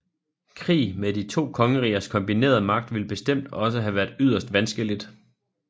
Krig med de to kongerigers kombinerede magt ville bestemt også have været yderst vanskeligt